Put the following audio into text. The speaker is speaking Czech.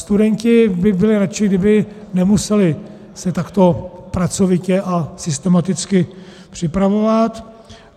Studenti by byli radši, kdyby nemuseli se takto pracovitě a systematicky připravovat.